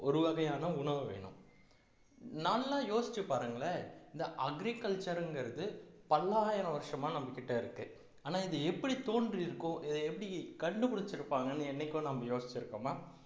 ஒரு வகையான உணவு வேணும் நல்லா யோசிச்சு பாருங்களேன் இந்த agriculture ங்கிறது பல்லாயிரம் வருஷமா நம்ம கிட்ட இருக்கு ஆனா இது எப்படி தோன்றி இருக்கோ இதை எப்படி கண்டுபிடிச்சிருப்பாங்கன்னு என்னைக்கோ நம்ம யோசிச்சிருக்கோமா